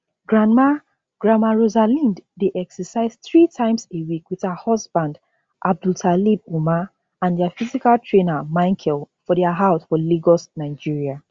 grandma grandma rosalind dey exercise three times a week wit her husband abdultalib umar and dia physical trainer michael for dia house for lagos nigeria